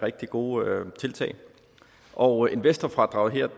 rigtig gode tiltag og investorfradraget her